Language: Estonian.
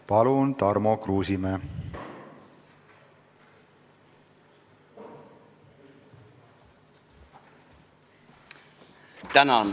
Palun, Tarmo Kruusimäe!